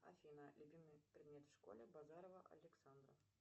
афина любимый предмет в школе базарова александра